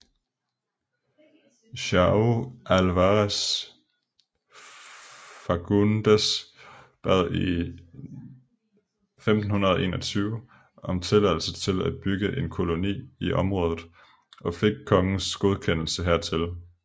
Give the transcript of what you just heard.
João Álvares Fagundes bad i 1521 om tilladelse til at bygge en koloni i området og fik kongens godkendelse hertil